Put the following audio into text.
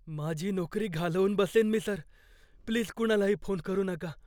माझी नोकरी घालवून बसेन मी, सर. प्लीज कुणालाही फोन करू नका.